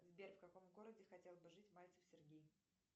сбер в каком городе хотел бы жить мальцев сергей